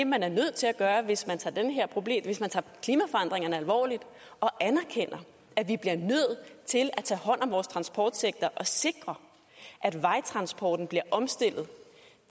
man er nødt til at gøre hvis man hvis man tager klimaforandringerne alvorligt og anerkender at vi bliver nødt til at tage hånd om vores transportsektor og sikre at vejtransporten bliver omstillet